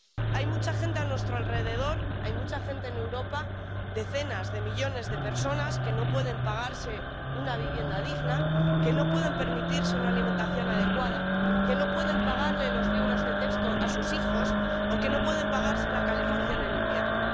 Hay mucha gente a nuestro alrededor, hay mucha gente en Europa —decenas de millones de personas— que no puede pagar una vivienda digna, que no puede permitirse una alimentación adecuada, que no puede pagar los libros de texto de sus hijos, o que no puede pagar la calefacción en invierno.